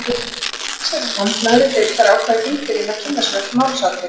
Allsherjarnefnd neðri deildar ákvað í þingbyrjun að kynna sér öll málsatvik.